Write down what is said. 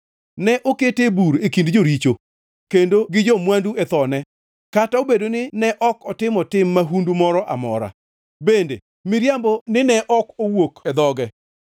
Ne okete e bur e kind joricho kendo gi jo-mwandu e thone, kata obedo ni ne ok otimo tim mahundu moro amora bende miriambo nine ok owuok e dhoge.